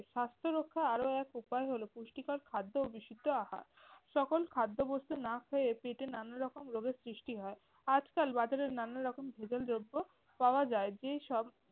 স্বাস্থ্যরক্ষা আরও এক উপায় হল পুষ্টিকর খাদ্য ও বিশুদ্ধ আহার। সকল খাদ্যবস্তু না খেয়ে পেটে নানা রকম রোগের সৃষ্টি হয়। আজকাল বাজারে নানারকম ভেজাল দ্রব্য পাওয়া যায় যেসব-